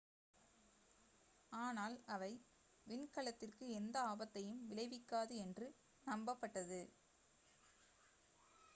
ஆனால் அவை விண்கலத்திற்கு எந்த ஆபத்தையும் விளைவிக்காது என்று நம்பப் பட்டது